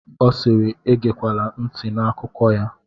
Ọ siiri, egekwala ntị n'akụkọ ya!